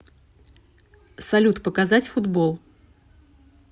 салют показать футбол